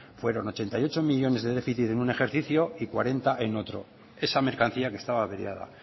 fueron ochenta y ocho millónes de déficit en un ejercicio y cuarenta en otro esa mercancía que estaba averiada